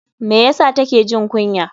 Me ya sa take jin kunya?